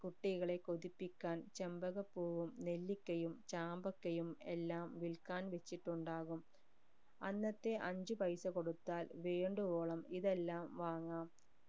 കുട്ടികളെ കൊതിപ്പിക്കാൻ ചെമ്പകപ്പൂവും നെല്ലിക്കയും ചാമ്പക്കയും എല്ലാം വിൽക്കാൻ വെച്ചിട്ടുണ്ടാകും അന്നത്തെ അഞ്ച് പൈസ കൊടുത്താൽ വേണ്ടുവോളം ഇതെല്ലം വാങ്ങാം